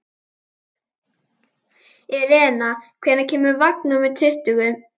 Irena, hvenær kemur vagn númer tuttugu?